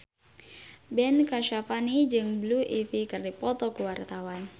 Ben Kasyafani jeung Blue Ivy keur dipoto ku wartawan